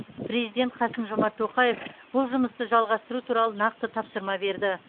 президент қасым жомарт тоқаев бұл жұмысты жалғастыру туралы нақты тапсырма берді